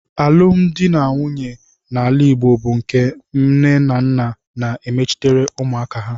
Alụmdi na nwunye n'ala Igbo bụ nke nnenanna na-emechitere ụmụaka ha.